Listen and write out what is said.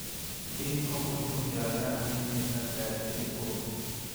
Kĩhĩko kũhithũkĩra Iran akĩmĩta "Ngarĩ ndĩri ũru"